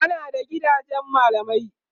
ana da gidajen mallamai